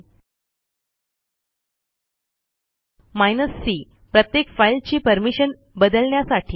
hyphen c प्रत्येक फाईलची permission बदलण्यासाठी